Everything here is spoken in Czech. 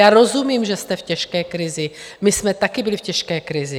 Já rozumím, že jste v těžké krizi, my jsme také byli v těžké krizi.